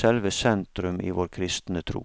selve sentrum i vår kristne tro.